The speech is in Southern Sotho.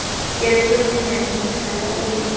kentswe bonyane mohlala o le